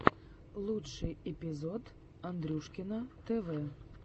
лучший эпизод андрюшкино тв